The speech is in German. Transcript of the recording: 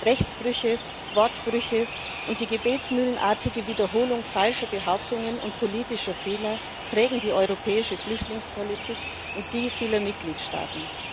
Rechtsbrüche, Wortbrüche und die gebetsmühlenartige Wiederholung falscher Behauptungen und politischer Fehler prägen die europäische Flüchtlingspolitik und die vieler Mitgliedstaaten.